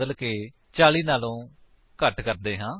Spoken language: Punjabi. ਵੇਟ ਦੀ ਵੈਲਿਊ ਨੂੰ ਬਦਲਕੇ 40 ਤੋਂ ਘੱਟ ਕਰਦੇ ਹਾਂ